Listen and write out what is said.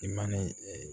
I mana ee